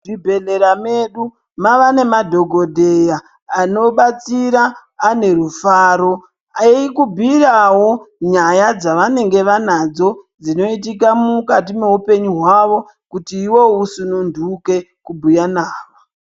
Muzvibhedhlera medu, mavanemadhokodheya anobatsira anerufaro, eyikubuyirawo nyaya dzavanenge vanadzo dzinoyitika mukati meupenyu wavo kuti iwo usununduke kubuya navo.